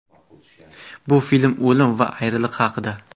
Bu film o‘lim va ayriliq haqida.